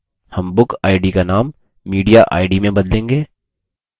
हम bookid का नाम mediaid में बदलेंगे